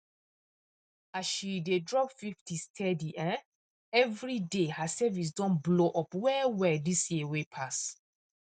as she dey dey drop 50 steady um every day her savings don blow up wellwell this year wey pass